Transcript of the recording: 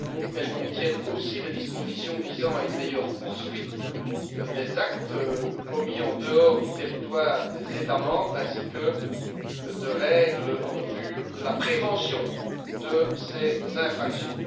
Elles contiennent aussi des dispositions visant à une meilleure poursuite des actes commis en dehors du territoire des États membres, ainsi que de règles en vue de la prévention de ces infractions.